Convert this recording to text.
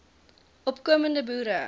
opko mende boere